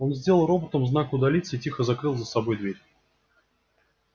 он сделал роботам знак удалиться и тихо закрыл за собой дверь